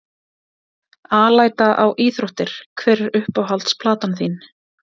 Alæta á íþróttir Hver er uppáhalds platan þín?